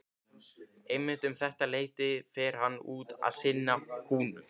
Einmitt um þetta leyti fer hann út að sinna kúnum.